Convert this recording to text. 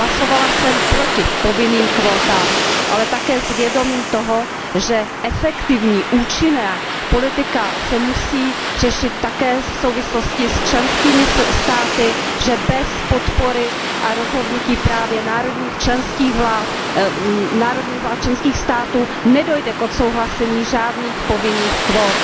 Hlasovala jsem proti povinným kvótám, ale také s vědomím toho, že efektivní účinná politika se musí řešit také v souvislosti s členskými státy, že bez podpory a rozhodnutí právě národních vlád členských států nedojde k odsouhlasení žádných povinných kvót.